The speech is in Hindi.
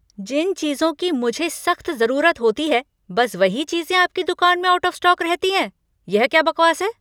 जिन चीज़ों की मुझे सख्त ज़रुरत होती है, बस वही चीज़ें आपकी दुकान में आउट ऑफ़ स्टॉक रहती हैं, यह क्या बकवास है।